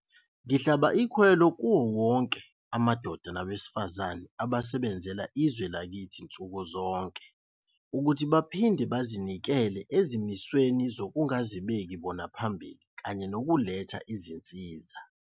Ngihlaba ikhwelo kuwona wonke amadoda nabesifazane abasebenzela izwe lakithi nsuku zonke ukuthi baphinde bazinikele ezimisweni zokungazibeki bona phambili kanye nokuletha izinsiza.